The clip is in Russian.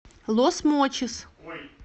лос мочис